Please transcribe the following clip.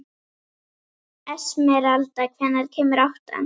Esmeralda, hvenær kemur áttan?